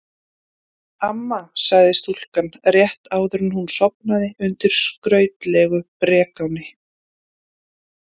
Amma, sagði stúlkan rétt áður en hún sofnaði undir skrautlegu brekáni.